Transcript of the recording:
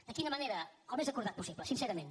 de quina manera el més acordat possible sincerament